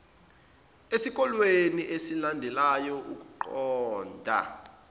esikoleni esilandelayo ukuqonda